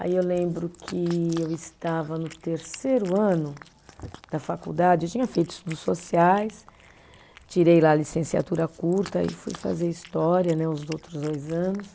Aí eu lembro que eu estava no terceiro ano da faculdade, eu tinha feito estudos sociais, tirei lá a licenciatura curta e fui fazer história né os outros dois anos.